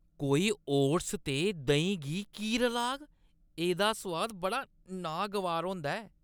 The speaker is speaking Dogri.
कोई ओट्स ते देहीं गी की रलाग? एह्दा सोआद बड़ा नागवार होंदा ऐ।